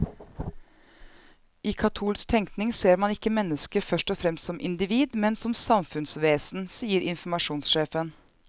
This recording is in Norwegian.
I katolsk tenkning ser man ikke mennesket først og fremst som individ, men som samfunnsvesen, sier informasjonssjefen.